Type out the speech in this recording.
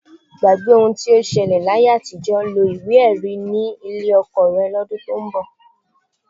Gbàgbé ohun tó ṣẹlẹ̀ láyé àtijọ́, lo ìwé-ẹ̀rí ni ilé ọkọ rẹ lọ́dún tó ń bọ̀.